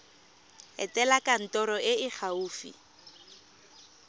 etela kantoro e e gaufi